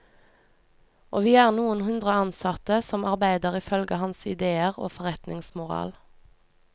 Og vi er noen hundre ansatte som arbeider ifølge hans idéer og forretningsmoral.